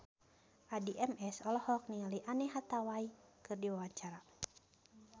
Addie MS olohok ningali Anne Hathaway keur diwawancara